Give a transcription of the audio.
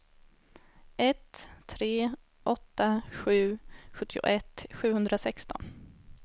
ett tre åtta sju sjuttioett sjuhundrasexton